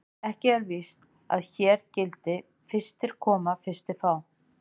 Ekki er víst að hér gildi: Fyrstir koma, fyrstir fá.